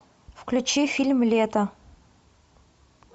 включи фильм лето